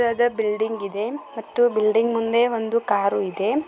ದೊಡ್ಡ ದಾದಾ ಬಿಲ್ಡಿಂಗ್ ಇದೆ ಮತ್ತೆ ಬಿಲ್ಡಿಂಗ್ ಮುಂದೆ ಒಂದು ಕಾರ್ ಇದೆ.